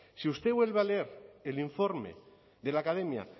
si usted vuelve a leer el informe de la academia